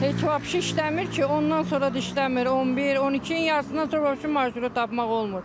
Heç vapse işləmir ki, ondan sonra da işləmir, 11, 12-nin yarısından sonra vapse marşrutu tapmaq olmur.